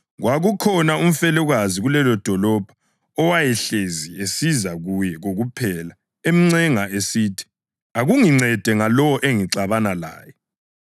Kwakukhona umfelokazi kulelodolobho owayehlezi esiza kuye kokuphela emncenga esithi, ‘Akungincede ngalowo engixabana laye.’